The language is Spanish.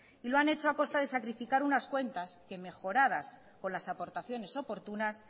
y lo han hecho a costa de sacrificar unas cuentas que mejoradas con las aportaciones oportunas